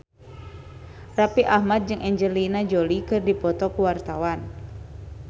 Raffi Ahmad jeung Angelina Jolie keur dipoto ku wartawan